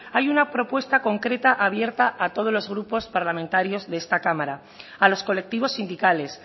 hay una propuesta concreta abierta a todos los grupos parlamentarios de esta cámara a los colectivos sindicales